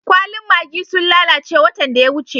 Kwallin maggi'n sun lallace watan da ya wuce.